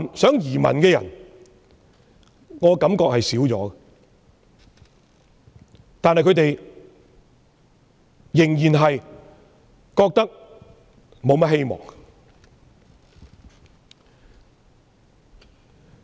有意移民的人減少了，但他們對本港仍然沒有多大希望。